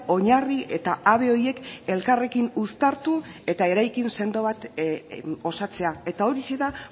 oinarri eta habe horiek elkarrekin uztartu eta eraikin sendo bat osatzea eta horixe da